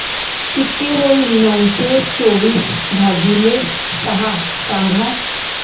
किती होईल नऊशे चोवीस भागीले सहा सांगा